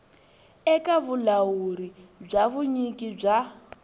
eka vulawuri bya vunyiki bya